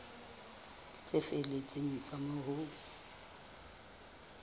tse felletseng tsa moo ho